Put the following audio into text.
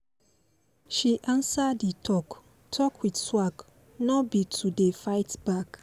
she answer d talk talk with swag nor be to dey fight back